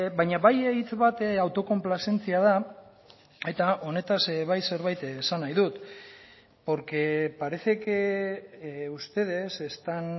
baina bai hitz bat autokonplazentzia da eta honetaz bai zerbait esan nahi dut porque parece que ustedes están